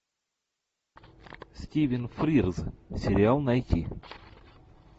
стивен фрирз сериал найти